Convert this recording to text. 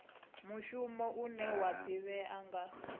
muhasho une wa ḓivhea nga